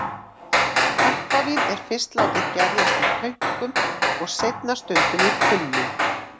Kampavín er fyrst látið gerjast í tönkum og seinna stundum í tunnum.